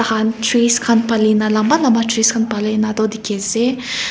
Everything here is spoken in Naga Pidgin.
trees khan palina lamba lamba trees khan palina toh dikhi ase.